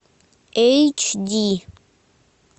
эйч ди